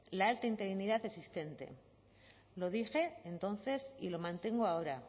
la alta interinidad existente lo dije entonces y lo mantengo ahora